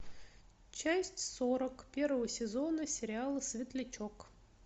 часть сорок первого сезона сериала светлячок